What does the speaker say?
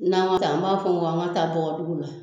N'an y'o ta an b'a fɔ k'an ka taa dɔgɔdugu la